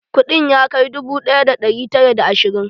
Kuɗin ya kai dubu ɗaya da ɗari tara da ashirin?